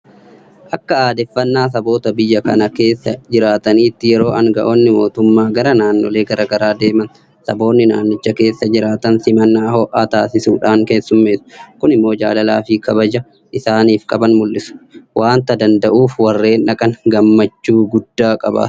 Akka aadeffannaa saboota biyya kana keessa jiraataniitti yeroo aanga'oonni mootummaa gara naannolee garaa garaa deeman saboonni naannicha keessa jiraatan simannaa ho'aa taasisuufiidhaan keessummeessu. Kun immoo jaalalaafi kabaja isaaniif qaban mul'isuu waanta danda'uuf warreen dhaqan gammachuu guddaa qabaatu.